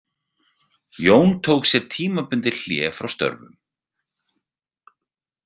Jón tók sér tímabundið hlé frá störfum.